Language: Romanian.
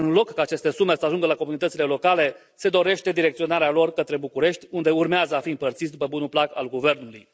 În loc ca aceste sume să ajungă la comunitățile locale, se dorește direcționarea lor către București, unde urmează a fi împărțiți după bunul plac al guvernului.